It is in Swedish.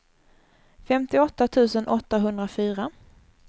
femtioåtta tusen åttahundrafyra